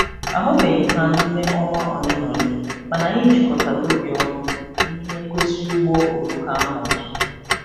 A hụbeghị m ha n'ime ọnwa ole na ole ma anyị jikọtara obi ọnụ n'ihe ngosi ụgbọ oloko ahụ ọzọ.